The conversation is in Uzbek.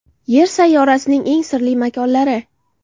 Yer sayyorasining eng sirli makonlari .